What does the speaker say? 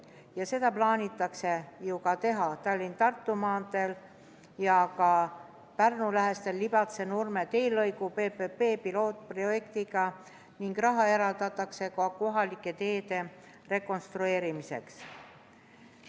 Ja seda plaanitakse ju ka teha Tallinna–Tartu maanteel, Pärnu lähistel Libatse–Nurme teelõigu PPP-pilootprojektiga ning raha eraldatakse ka kohalike teede rekonstrueerimiseks.